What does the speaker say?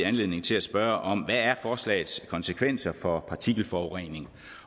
anledning til at spørge om hvad er forslagets konsekvenser for partikelforurening